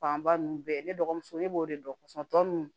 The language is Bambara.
Fanba ninnu bɛɛ ne dɔgɔmuso ne b'o de dɔn tɔ ninnu